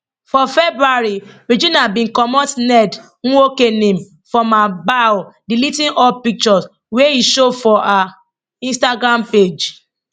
for february regina bin comot ned nwoko name from her bio deleting all pictures wia e show for her instagram page